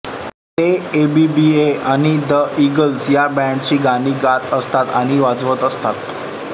ते एबीबीए आणि the Eagles ह्या बँडची गाणी गात असत आणि वाजवत असत